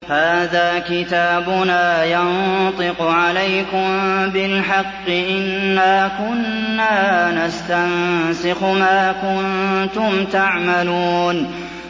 هَٰذَا كِتَابُنَا يَنطِقُ عَلَيْكُم بِالْحَقِّ ۚ إِنَّا كُنَّا نَسْتَنسِخُ مَا كُنتُمْ تَعْمَلُونَ